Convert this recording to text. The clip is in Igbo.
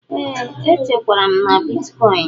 Ee, echekwara m na bịtịkoin.